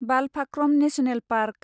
Balphakram national park